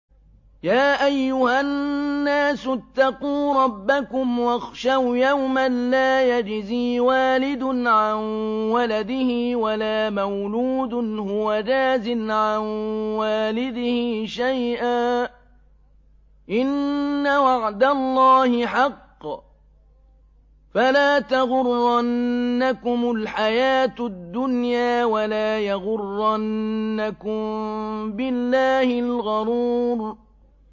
يَا أَيُّهَا النَّاسُ اتَّقُوا رَبَّكُمْ وَاخْشَوْا يَوْمًا لَّا يَجْزِي وَالِدٌ عَن وَلَدِهِ وَلَا مَوْلُودٌ هُوَ جَازٍ عَن وَالِدِهِ شَيْئًا ۚ إِنَّ وَعْدَ اللَّهِ حَقٌّ ۖ فَلَا تَغُرَّنَّكُمُ الْحَيَاةُ الدُّنْيَا وَلَا يَغُرَّنَّكُم بِاللَّهِ الْغَرُورُ